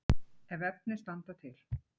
Ef efni standa til.